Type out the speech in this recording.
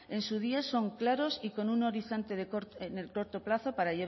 en su día son claros y con un horizonte en el corto plazo